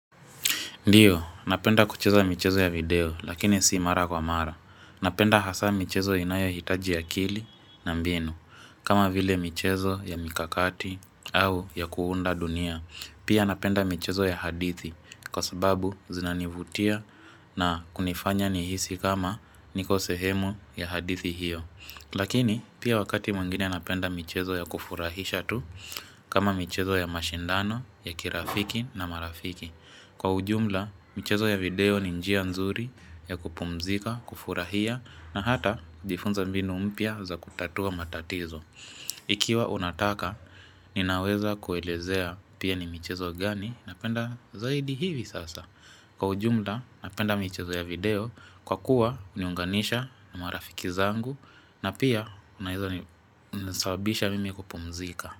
Ndiyo, napenda kucheza mchezo ya video, lakini si mara kwa mara. Napenda hasa mchezo inayohitaji ya kili na mbinu. Kama vile mchezo ya mikakati au ya kuunda dunia. Pia napenda mchezo ya hadithi, kwa sababu zinanivutia na kunifanya nihisi kama niko sehemu ya hadithi hiyo. Lakini, pia wakati mwengine napenda mchezo ya kufurahisha tu, kama mchezo ya mashindano, ya kirafiki na marafiki. Ndio, napenda kucheza mchezo ya video, lakini si mara kwa mara. Ikiwa unataka, ninaweza kuelezea pia ni michezo gani, napenda zaidi hivi sasa. Kwa ujumla, napenda michezo ya video kwa kuwa uniunganisha na marafiki zangu na pia unasabisha mimi kupumzika.